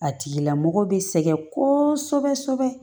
A tigila mɔgɔ bɛ sɛgɛn kosɛbɛ kosɛbɛ